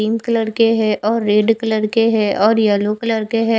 इन colour के है और रेड कलर है और येलो कलर के है।